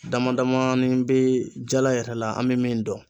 Damadamani be jala yɛrɛ la an be min dɔn